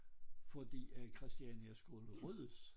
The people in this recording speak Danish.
Fordi at Christiania skulle ryddes